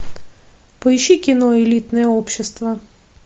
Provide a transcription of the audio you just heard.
поищи кино элитное общество